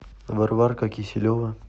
варварка киселева